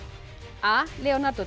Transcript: a Leonardo de